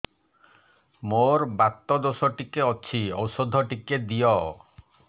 ମୋର୍ ବାତ ଦୋଷ ଟିକେ ଅଛି ଔଷଧ ଟିକେ ଦିଅ